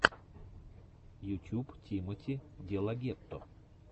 ютюб тимоти делагетто